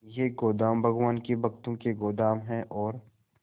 ये गोदाम भगवान के भक्तों के गोदाम है और